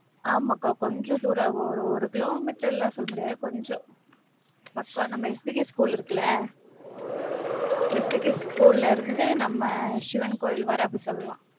ஆமாக்கா கொஞ்ச தூரம், ஒரு ஒரு கிலோமீட்டர்லாம் சொல்ல முடியாது, கொஞ்சம். அக்கா நம்ம எஸ்பிகே school இருக்குல, எஸ்பிகேல இருந்து நம்ம சிவன் கோயில் வர, அப்படி சொல்லலாம்.